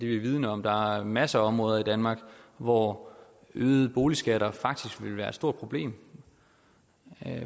vi vidende om der er masser af områder i danmark hvor øgede boligskatter faktisk vil være et stort problem